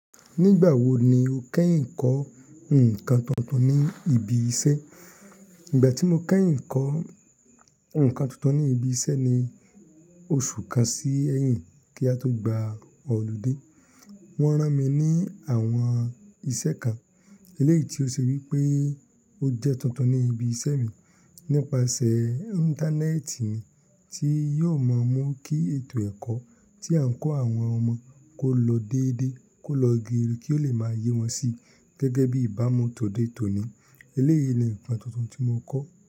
Nígbà wo ni o kẹ́yìn kọ́ nǹkan tuntun ní ibi iṣẹ́? Ìgbà tí mo kẹ́yìn kọ́ nǹkan tuntun ní ibi iṣẹ́ ni oṣù kan sí ẹ̀yìn kí a tó gba ọ́ludé. Wọ́n rán mi ní àwọn iṣẹ́ kan, eléyìí tí ó ṣe wí pé ó jẹ́ tuntun ní ibi iṣẹ́ mi. Nípasẹ̀ Íńtánẹ́ẹ̀tì ni tí yóò mọ mú kí ètò ẹ̀kọ́ tí à ń kọ́ àwọn ọmọ kó lọ déédéé kó lọ geere kí ó le máa yé wọn sí gẹ́gẹ́ bí ìbámu tòde tòní. Eléyìí ni nǹkan tuntun tí mo kọ́